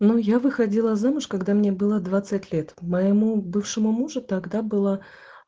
ну я выходила замуж когда мне было двадцать лет моему бывшему мужу тогда было